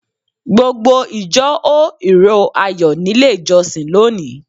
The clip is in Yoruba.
Gbogbo ìjọ hó ìró Ayọ̀ nílé ìjọsìn lónìí.